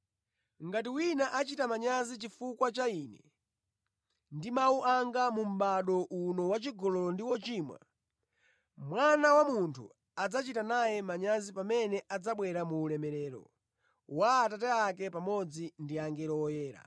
Ngati wina achita manyazi chifukwa cha Ine ndi mawu anga mu mʼbado uno wachigololo ndi wochimwa, Mwana wa Munthu adzachita naye manyazi pamene adzabwera mu ulemerero wa Atate ake pamodzi ndi angelo oyera.”